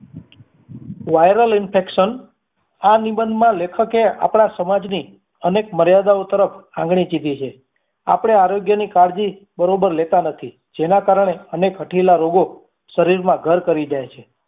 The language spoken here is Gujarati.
viral infection આ નિબંધ માં લેખક એ આપડા સમાજની અનેક મર્યાદાઓ તરફ આંગળી ચીંધી છે આપડે આરોગ્યની કાળજી બરોબર લેતાં નથી જેના કારણે અનેક હઠીલા રોગો શરીરમાં ઘર કરી જય છે